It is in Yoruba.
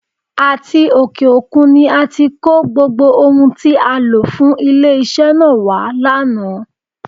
Àti òkè òkun ni a ti kó gbogbo ohun tí a lò fún ilé-iṣẹ́ náà wá lánàá.